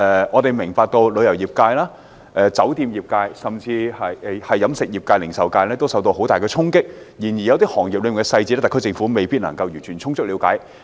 我明白旅遊業、酒店業、飲食業及零售業均受到很大衝擊，但有些行業所面對的具體影響，特區政府未必能夠充分了解。